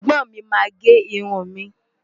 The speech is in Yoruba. Ẹ̀gbọ́n mi máa gé irun mi.